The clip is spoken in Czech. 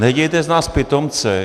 Nedělejte z nás pitomce.